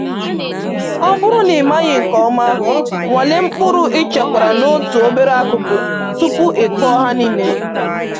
Ọ bụrụ na ị maghị nke ọma, nwalee mkpụrụ i chekwara n’otu obere akụkụ tupu i kụọ ha niile